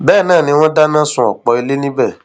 bẹẹ náà ni wọn dáná sun ọpọ ilé níbẹ